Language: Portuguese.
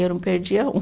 Eu não perdia um.